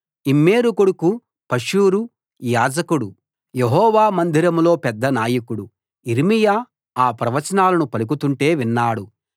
Immer కొడుకు Pashhur యాజకుడు Jehovah మందిరంలో పెద్ద నాయకుడు యిర్మీయా ఆ ప్రవచనాలను పలుకుతుంటే విన్నాడు